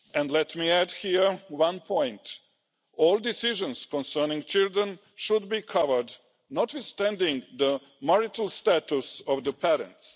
Let me add here one point all decisions concerning children should be covered, notwithstanding the marital status of the parents.